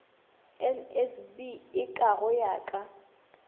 nsb eka go ya ka